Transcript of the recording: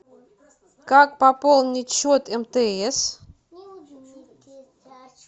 как пополнить счет мтс